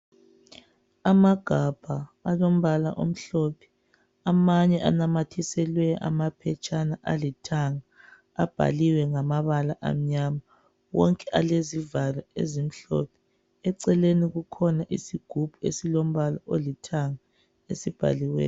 Amagabha alombala omhlophe. Amanye anamathiselwe amaphetshana alithanga. Abhaliwe ngamabala amnyama. Wonke alezivalo ezimhlophe. Eceleni kukhona isigubhu, esilombala olithanga. Esibhaliweyo.